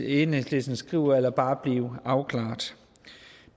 enhedslisten skriver eller bare blive afklaret